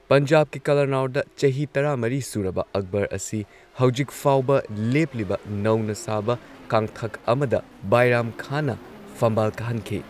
ꯄꯟꯖꯥꯕꯀꯤ, ꯀꯂꯥꯅꯥꯎꯔꯗ, ꯆꯍꯤ ꯇꯔꯥ ꯃꯔꯤ ꯁꯨꯔꯕ ꯑꯛꯕꯔ ꯑꯁꯤ ꯍꯧꯖꯤꯛ ꯐꯥꯎꯕ ꯂꯦꯞꯂꯤꯕ, ꯅꯧꯅ ꯁꯥꯕ ꯀꯥꯡꯊꯛ ꯑꯃꯗ ꯕꯥꯏꯔꯝ ꯈꯥꯟꯅ ꯐꯝꯕꯥꯜ ꯀꯥꯍꯟꯈꯤ꯫